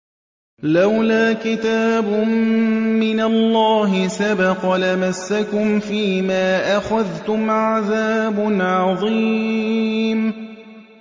لَّوْلَا كِتَابٌ مِّنَ اللَّهِ سَبَقَ لَمَسَّكُمْ فِيمَا أَخَذْتُمْ عَذَابٌ عَظِيمٌ